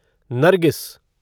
Nargis